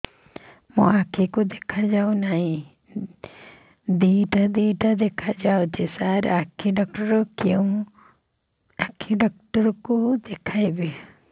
ମୋ ଆଖିକୁ ଦେଖା ଯାଉ ନାହିଁ ଦିଇଟା ଦିଇଟା ଦେଖା ଯାଉଛି ସାର୍ ଆଖି ଡକ୍ଟର କୁ ଦେଖାଇବି